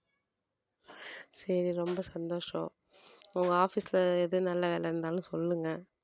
சரி ரொம்ப சந்தோஷம் உங்க office ல எது நல்ல வேலை இருந்தாலும் சொல்லுங்க